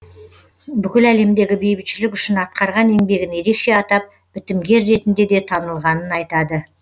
бүкіл әлемдегі бейбітшілік үшін атқарған еңбегін ерекше атап бітімгер ретінде де танылғанын айтады